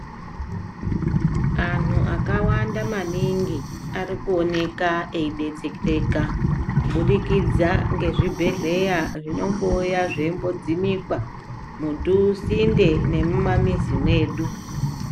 Anhu akawanda maningi arikuoneka eibetsereka, kubudikidza ngezvibhehleya zvinombouya zveidzimikwa musinde nemumamizi medu.